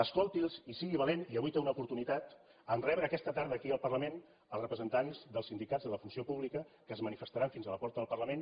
escolti’ls i sigui valent i avui en té una oportunitat en rebre aquesta tarda aquí al parlament els representants dels sindicats de la funció pública que es manifestaran fins a la porta del parlament